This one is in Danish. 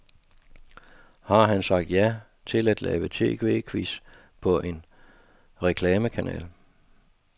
Han har sagt ja til at lave tv-quiz på en reklamekanal.